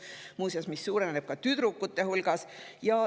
Muuseas, suureneb ka tüdrukute hulgas.